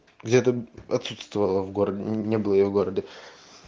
где-то отсутствовала в городе не было её в городе